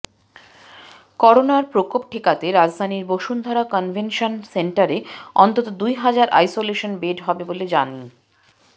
করোনার প্রকোপ ঠেকাতে রাজধানীর বসুন্ধরা কনভেনশন সেন্টারে অন্তত দুই হাজার আইসোলেশন বেড হবে বলে জানি